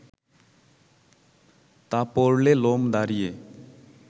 তা পড়লে লোম দাঁড়িয়ে